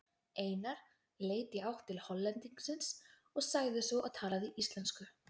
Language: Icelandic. Einar leit í átt til Hollendingsins og sagði svo og talaði íslensku